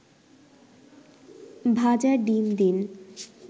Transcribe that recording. ভাজা ডিম দিন